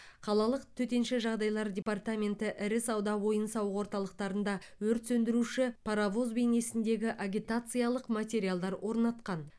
қалалық төтенше жағдайлар департаменті ірі сауда ойын сауық орталықтарында өрт сөндіруші паровоз бейнесіндегі агитациялық материалдар орнатқан